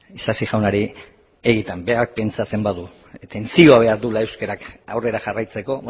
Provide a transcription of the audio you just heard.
isasi jaunari egietan berak pentsatzen badu atentzioa behar duela euskarak aurrera jarraitzeko